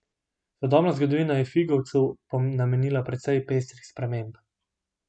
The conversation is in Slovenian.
Sodobna zgodovina je Figovcu namenila precej pestrih sprememb.